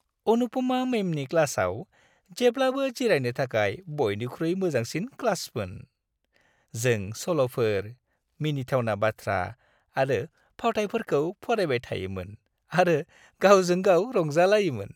अनुपमा मैमनि क्लासआव जेब्लाबो जिरायनो थाखाय बयनिख्रुइ मोजांसिन क्लासमोन। जों सल'फोर, मिनिथावना बाथ्रा आरो फावथायफोरखौ फरायबाय थायोमोन आरो गावजों गाव रंजालायोमोन।